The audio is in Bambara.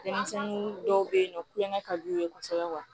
Denmisɛnnin dɔw bɛ yen nɔ kulonkɛ ka d'u ye kosɛbɛ